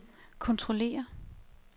kontrollere